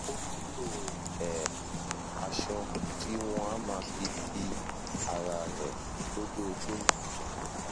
ó nílò um aṣọ tí wọn á máa fi di ara rẹ lójoojúmọ